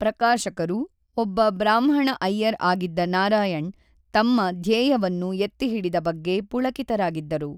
ಪ್ರಕಾಶಕರು, ಒಬ್ಬ ಬ್ರಾಹ್ಮಣ ಅಯ್ಯರ್ ಆಗಿದ್ದ ನಾರಾಯಣ್‌ ತಮ್ಮ ಧ್ಯೇಯವನ್ನು ಎತ್ತಿಹಿಡಿದ ಬಗ್ಗೆ ಪುಳಕಿತರಾಗಿದ್ದರು.